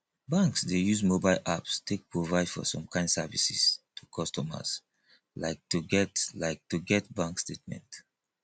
banks dey use mobile apps take provide some kimd services to customers like to get like to get bank statement